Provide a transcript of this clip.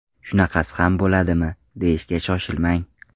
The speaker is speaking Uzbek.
Shunaqasi ham bo‘ladimi, deyishga shoshilmang.